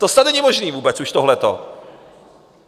To snad není možné vůbec už, tohleto.